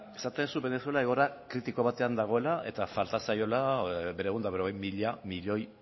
esaten duzu venezuela egoera kritiko batean dagoela eta falta zaiola berrehun eta berrogei mila milioi